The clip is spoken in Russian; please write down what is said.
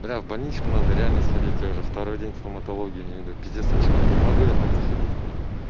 блять в больничку надо реально сходить тоже я уже второй день в стоматологию не иду пиздец очкую не могу я так заходить к ним